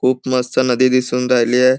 खूप मस्त नदी दिसून राहिली आहे.